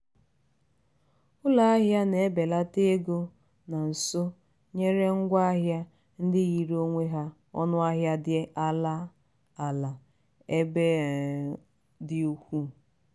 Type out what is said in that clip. ụlọahịa na-ebelata ego nọ nso nyere ngwa ahịa ndị yiri onwe ya ọnụahịa dị ala ala ebe ọ um dị ukwuu.